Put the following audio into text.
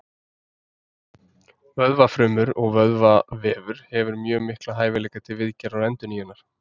Vöðvafrumur og vöðvavefur hefur mjög mikla hæfileika til viðgerða og endurnýjunar.